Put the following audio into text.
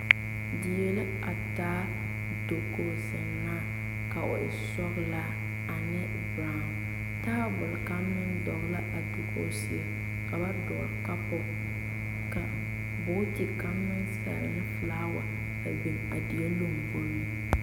Die la a taa dakogi zeŋnaa ka o e sɔglaa ane brown tabol kaŋ meŋ dɔgle la a dakogi seɛ ka ba dɔgle kapu ka bogti kaŋ meŋ sɛlle ne filaawa a biŋ a die lomboreŋ.